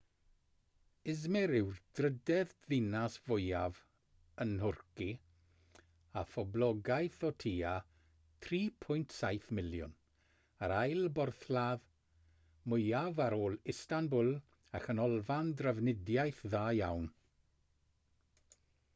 i̇zmir yw'r drydedd ddinas fwyaf yn nhwrci â phoblogaeth o tua 3.7 miliwn yr ail borthladd mwyaf ar ôl istanbul a chanolfan drafnidiaeth dda iawn